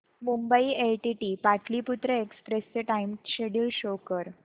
Mumbai LTT Pataliputra express चे time schedule show कर